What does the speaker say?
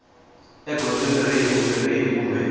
egondzweni rihi kumbe rihi kumbe